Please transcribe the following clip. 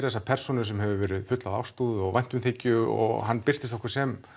þessa persónu sem hefur verið full af ástúð og væntumþykju og hann birtist okkur sem